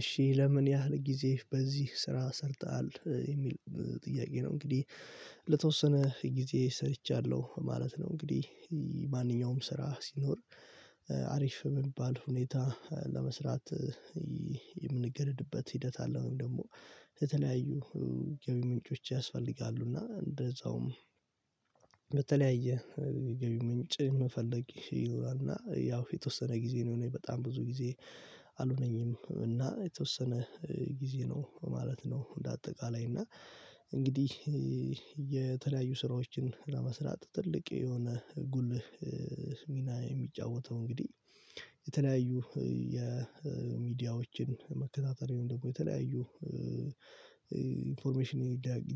እሺ ለምን ያህል ጊዜ በዚህ ስራ ሰርተሃል የሚል ጥያቄ ነው? እንግዲህ ለተወሰነ ጊዜ ሰርቻለሁ ማለት ነው። እንግዲህ ማንኛውም ስራ ሲኖር አሪፍ በሚባል ሁኔታ ለመስራት የምንገደድበት ሂደት አለ። ወይም ደግሞ በተለያዩ ገቢ ምንጮች ያስፈልጋሉ እና እንደዛውም በተለያየ የገቢ ምንጭ ምፈለግ ይኖራል። እና የተወሰነ ጊዜ ነው እኔ በጣም ብዙ ጊዜ አልሆነኝም። እና የተወሰነ ጊዜ ነው ማለት ነው። እንደ አጠቃላይ እና እንግዲህ የተለያዩ ስራዎችን ለመስራት ትልቅ የሆነ ጉልህ ሚና የሚጫወተው እንግዲህ የተለያዩ የሚዲያዎችን መከታተሪውን ደግሞ የተለያዩ ኢንፎርሜሽን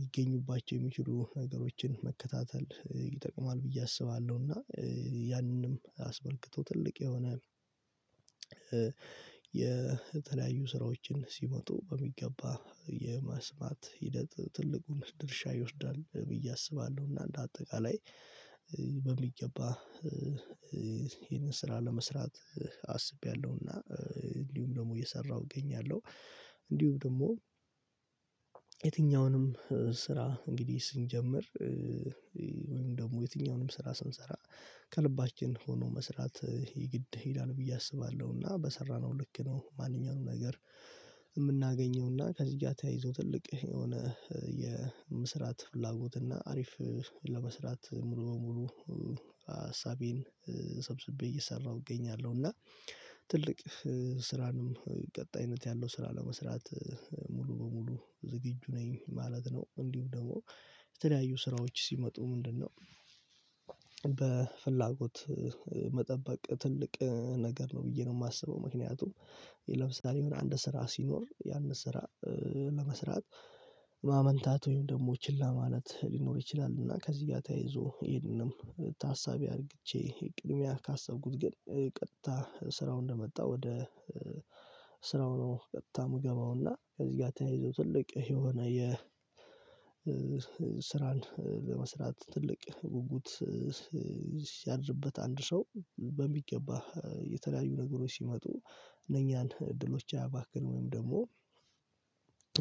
ይገኝባቸው የሚችሉ ነገሮችን መከታተል ይጠቅማል ብዬ አስባለሁ። እና ያንንም አስመልክቶ ትልቅ የሆነ የተለያዩ ስራዎችን ሲመጡ በሚገባ የማስማት ሂደት ትልቁን ድርሻ ይወስዳል ብዬ አስባለሁ። እና እንደ አጠቃላይ በሚገባ ይህንን ስራ ለመስራት አስቤያለሁና እንዲሁም ደግሞ እየሰራሁ እገኛለሁ። እንዲሁም ደሞ የትኛውንም ስራ እንግዲህ ስንጀምር ወይም ደግሞ የትኛውንም ስራ ስንሰራ ከልባችን ሆኖ መስራት የግድ ይላል ብዬ አስባለሁ። እና በሰራነው ልክ ነው ማንኛውንም ነገር እምናገኘው እና ከዚህ ጋ ተያይዞ ትልቅ የሆነ የመስራት ፍላጎት እና አሪፍ ለመስራት ሙሉ በሙሉ አሳቤን ሰብስቤ እየሰራሁ እገኛለሁ። እና ትልቅ ስራንም ቀጣይነት ያለው ስራ ለመስራት ሙሉ በሙሉ ዝግጁ ነኝ ማለት ነው። እንዲሁ ደግሞ የተለያዩ ስራዎች ሲመጡ ምንድነው በፍላጎት መጠበቅ ትልቅ ነገር ነው። ብዬ ነው ማስበው ምክንያቱም ለምሳሌ የሆነ አንድ ስራ ሲኖር ያንን ስራ ለመስራት ማመንታት ወይም ደግሞ ችላ ማለት ሊኖር ይችላል። እና ከዚህ ጋር ተያይዞ ይሄንንም ታሳቢ አርግቼ ቅድሚያ ካሰብኩት ግን ቀጥታ ስራውን እንደመጣ ወደ ስራው ነው ቀጥታ ምገባውና ከዚህ ጋ ተያይዞ ትልቅ የሆነ የ ስራን ለመስራት ትልቅ ጉጉት ያድርበት አንድ ሰው በሚገባ የተለያዩ ነገሮች ሲመጡ እነኛን እድሎች አያባክንም ወይም ደግሞ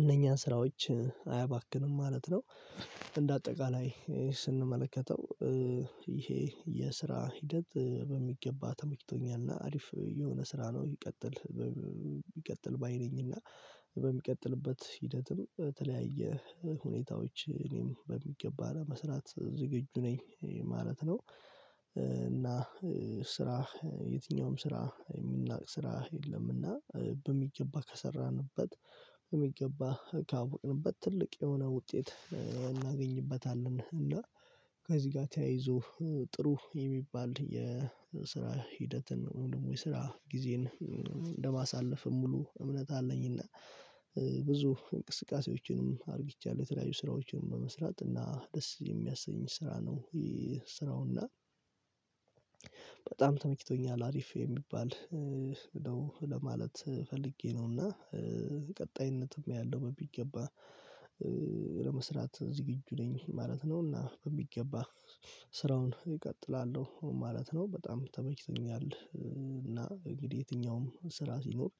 እነኛን ስራዎችን አያባክንም ማለት ነው። እንደ አጠቃላይ ስንመለከተው ይሄ የስራ ሂደት በሚገባ ተመችቶኛል እና አሪፍ የሆነ ስራ ነው። ይቀጥል ባይ ነኝ እና በሚቀጥልበት ሂደትም በተለያየ ሁኔታዎች እኔም በሚገባ ለመስራት ዝግጁ ነኝ ማለት ነው። እና ስራህ የትኛውም ስራ የሚናቅ ስራህ የለምና በሚገባ ከሰራንበት በሚገባ ካወቅንበት ትልቅ የሆነ ውጤት እናገኝበታለን። እና ከዚህ ጋ ተያይዞ ጥሩ የሚባል የስራ ሂደትን ወይም ደግሞ የስራ ጊዜን እንደማሳልፍ ሙሉ እምነት አለኝና። ብዙ እንቅስቃሴዎችንም አርግቻለሁ የተለያዩ ስራዎችንም በመስራት እና ደስ የሚያሰኝ ስራ ነው ይህ ስራውና። በጣም ተመችቶኛል አሪፍ የሚባል ነው ለማለት ፈልጌ ነው። እና ቀጣይነትም ያለው በሚገባ ለመስራት ዝግጁ ነኝ ማለት ነው። እና በሚገባ ስራውን እቀጥላለሁ ማለት ነው በጣም ተመችቶኛል እና እንግዲህ የትኛውም ስራ ሲኖር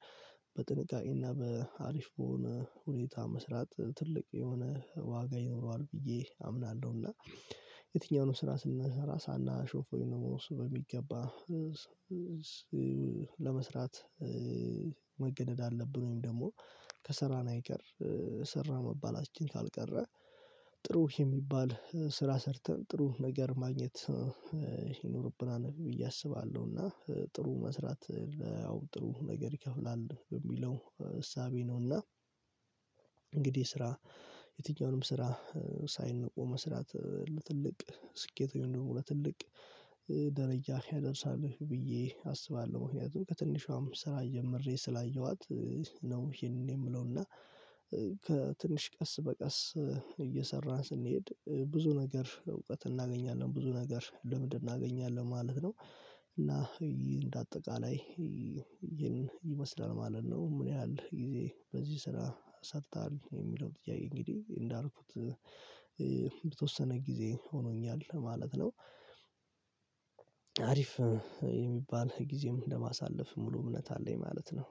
በጥንቃቄ እና በአሪፍ በሆነ ሁኔታ መስራት ትልቅ የሆነ ዋጋ ይኖረዋል ብዬ አምናለሁ። እና የትኛውንም ስራ ስንሰራ ሳናሾፍ ወይም ደሞ እሱ በሚገባ ለመስራት መገደድ አለብን ወይም ደግሞ ከስራን አይቀር ሰራ መባላችን ካልቀረ ጥሩ የሚባል ስራ ሰርተን ጥሩ ነገር ማግኘት ይኖርብናል ብዬ አስባለሁ። እና ጥሩ መስራት ለ ያው ጥሩ ነገር ይከፍላል በሚለው እሳቤ ነው። እና እንግዲህ ስራ የትኛውንም ስራ ሳይነቁ መስራት ለትልቅ ስኬት ወይም ደግሞ ለትልቅ ደረጃ ያደርሳል ብዬ አስባለሁ። ምክንያቱም ከትንሿም ስራ ጀምሬ ስላየኋት ነው። እሂንን የምለው እና ከትንሽ ቀስ በቀስ እየሰራን ስንሄድ ብዙ ነገር እውቀት እናገኛለን ብዙ ነገር ለምድ እናገኛለን ማለት ነው። እና እንደ አጠቃላይ ይመስላል ማለት ነው። ምን ያህል ጊዜ በዚህ ስራ ሰርታሀል የሚለው ጥያቄ? እንግዲህ እንዳልኩት በተወሰነ ጊዜ ሆኖኛል ማለት ነው። አሪፍ የሚባል ጊዜም ለማሳለፍ ሙሉ እምነት አለኝ ማለት ነው